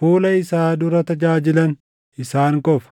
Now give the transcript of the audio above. fuula isaa dura tajaajilan isaan qofa.”